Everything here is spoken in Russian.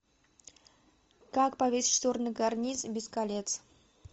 как повесить шторы на карниз без колец